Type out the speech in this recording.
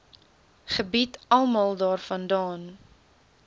gebied almal daarvandaan